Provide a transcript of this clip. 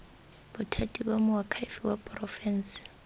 bothati ba moakhaefe wa porofense